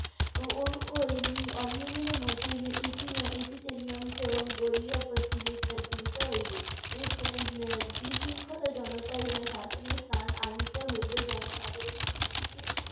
ও~ ওই উম অনিয়মের মধ্যেই ইতি~ ইতিতে নিয়মকেও গড়িয়া আহ তুলি~ এর তুলিতে হইবে। এর বি~ এর বিশৃঙ্খলা জনতার শাসনের স্থান আনিতে হইবে জনসাধারণের বিধিকে